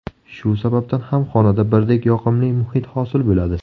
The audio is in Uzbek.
Shu sababdan ham xonada birdek yoqimli muhit hosil bo‘ladi.